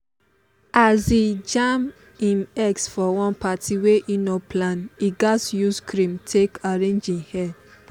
as he jam him ex for one party wey he no plan he gatz use cream take arrange him hair.